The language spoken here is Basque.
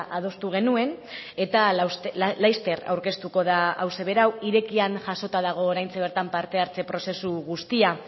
adostu genuen eta laster aurkeztuko da hauxe berau irekian jasota dago oraintxe bertan parte hartze prozesu guztia